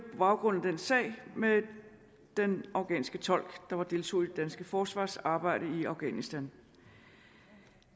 baggrund af den sag med den afghanske tolk der deltog i det danske forsvarsarbejde i afghanistan